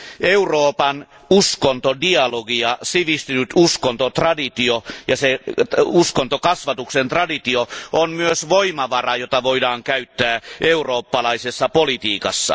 Euroopan uskontodialogia, sivistynyt uskontotraditio ja uskontokasvatuksen traditio ovat myös voimavara, jota voidaan käyttää eurooppalaisessa politiikassa.